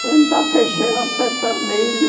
Plantar feijão, plantar milho.